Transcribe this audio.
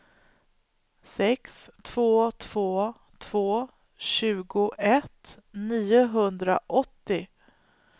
sex två två två tjugoett niohundraåttio